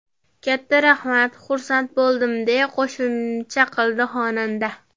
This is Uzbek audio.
Katta rahmat, xursand bo‘ldim”, deya qo‘shimcha qildi xonanda.